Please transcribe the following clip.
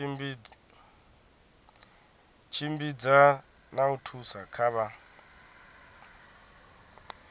tshimbidza na u thusa kha